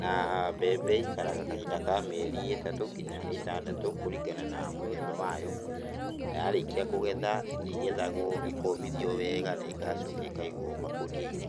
Na mbembe ĩikaraga kahinda ka mĩeri ĩtatũ ngina ĩtandatũ kũringana na mũthemba wayo, na yarĩkia kũgetha, ĩgethagwo, ĩkomithio wega na ĩgacoka ĩkaigwo makũnia-inĩ.